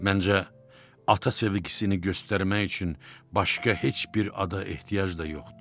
Məncə ata sevgisini göstərmək üçün başqa heç bir ada ehtiyac da yoxdur.